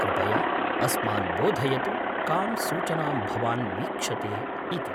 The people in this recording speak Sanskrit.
कृपया अस्मान् बोधयतु कां सूचनां भवान् वीक्षते इति।